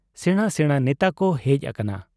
ᱥᱮᱬᱟ ᱥᱮᱬᱟ ᱱᱮᱛᱟᱠᱚ ᱦᱮᱡ ᱟᱠᱟᱱᱟ ᱾